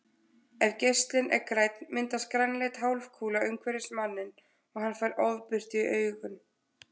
Ef geislinn er grænn myndast grænleit hálfkúla umhverfis manninn og hann fær ofbirtu í augun.